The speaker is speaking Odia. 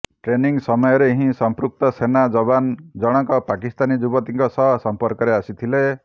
ଟ୍ରେନିଙ୍ଗ ସମୟରେ ହିଁ ସଂପୃକ୍ତ ସେନା ଯବାନ ଜଣଙ୍କ ପାକିସ୍ତାନୀ ଯୁବତୀଙ୍କ ସହ ସମ୍ପର୍କରେ ଆସିଥିଲେ